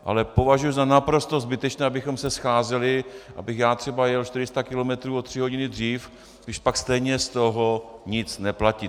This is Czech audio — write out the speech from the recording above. Ale považuji za naprosto zbytečné, abychom se scházeli, abych já třeba jel 400 kilometrů o tři hodiny dřív, když pak stejně z toho nic neplatí.